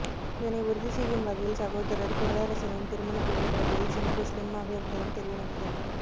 இதனை உறுதி செய்யும் வகையில் சகோதரர் குறளரசனின் திருமண புகைப்படங்களில் சிம்பு ஸ்லிம் ஆக இருந்ததும் தெரிய வந்தது